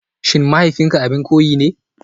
SHIN mahaifinka abin koyi ne?